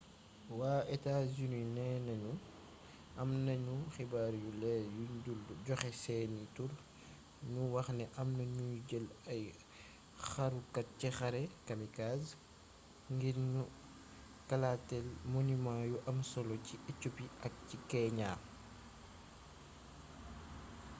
waa états-unis neena ñu am nañu xibaar yu leer yuñ dul joxe seeni tur ñu waxni amna ñuy jël ay xarukat ci xare” kamikaze ngir ñu kalaateel monument yu am solo ci éthiopie ak ci kenya